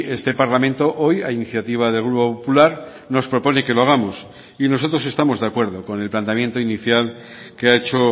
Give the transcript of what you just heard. este parlamento hoy a iniciativa del grupo popular nos propone que lo hagamos y nosotros estamos de acuerdo con el planteamiento inicial que ha hecho